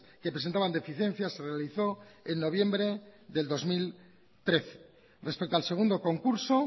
que presentaban deficiencias se realizó en noviembre del dos mil trece respecto al segundo concurso